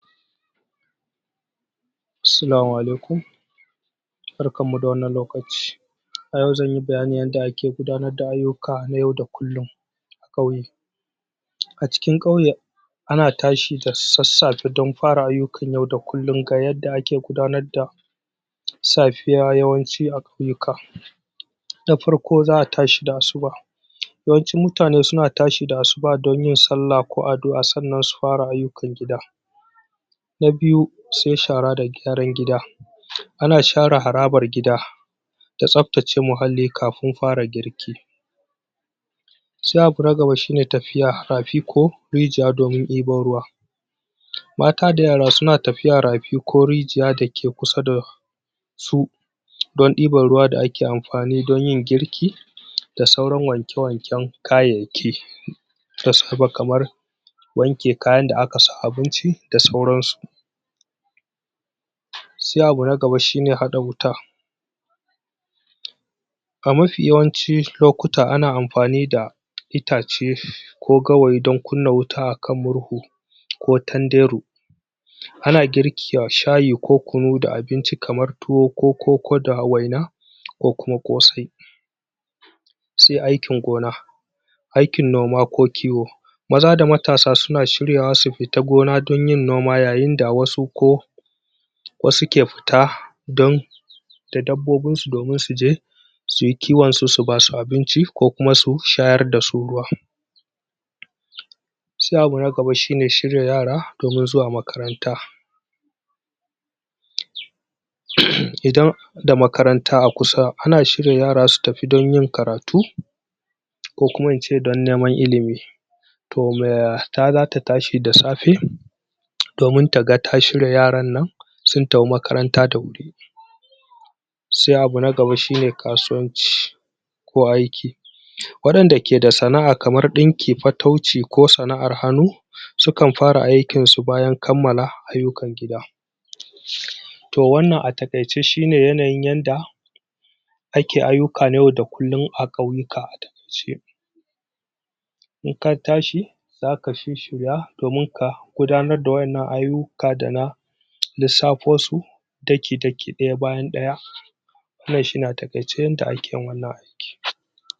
Salamu alaikum barkanmu da wannan lokaci a yau zan yi bayanin yadda ake gudanar da ayyuka na yau da kullum. a ƙauye. A cikin ƙauye ana tashi da sassafe don fara ayyukan yau da kullum Ga yadda ake gudanar da safiya yawanci a ƙauyuka Na farko za a tashi da Assuba yawancin mutane suna tashi da Asuba don yin sallah ko addu'a sannan su fara ayyukan gida. Na biyu sai shara da gyaran gida ana share harbar gida da tsabtace muhalli kafin fara girki. Sai abu na gaba shi ne tafiya rafi ko rijiya domin ɗebo ruwa Mata da yara suna tafiya rafi ko rijiya da ke kusa da su don ɗiban ruwa da ake amfani don yin girki da sauran wanke-wanken kayayyaki. Da safe kamar wanke kayan da aka sa abinci da sauransu. Sai abu na gaba shi ne haɗa wuta. A mafi yawancin lokuta ana amfani da Ita ce ko gawayi don kunna wuta a kan murhu. ko tanderu. Ana girki a shayi ko kunu da abinci kamar tuwo ko koko da waina ko kuma ƙosai. Sai aikin gona. aikin noma ko kiwao Maza da matasa suna shiryawa su fita don yin noma yayin da wa su ko wasu ke fita don da dabbobinsu domin su je su yi kiwonsu su ba su abinci ko kuma su shayar da su ruwa. Sai abu na gaba shi ne shirya yara domin zuwa makaranta. Idan da makaranta a kusa ana shirya yara su tafi don yin karatu ko kuma in ce don neman ilimi to mata za ta tashi da safe domin ta ga ta shirya yaran nan sun tafi makaranta da wuri Sai abu nagaba shi ne kasuwanci. ko aiki. Waɗanda ke da sana'a kamar ɗanki fatauci ko sana'ar hannu Sukan fara aikinsu bayan kammala ayyukan gida. to wannan a taƙaice shi ne yanayin yanda Ake ayyuka na yau da kullum a ƙauyuka a taƙaice. In ka tsahi za ka shishshira domin ka gudanar da wannan ayyuka da na lissafosu daki-daki ɗaya bayan ɗaya. wannan shi ne a taƙaice yadda ake yin wannan aiki.